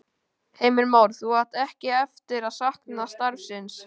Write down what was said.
Heimir Már: Þú átt ekki eftir að sakna starfsins?